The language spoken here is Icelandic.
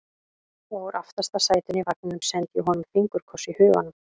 Og úr aftasta sætinu í vagninum sendi ég honum fingurkoss í huganum.